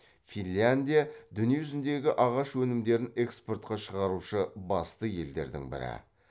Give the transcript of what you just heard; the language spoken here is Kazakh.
финляндия дүние жүзіндегі ағаш өнімдерін экспортқа шығарушы басты елдердің бірі